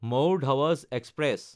মাওৰ ধাৱাজ এক্সপ্ৰেছ